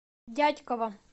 дятьково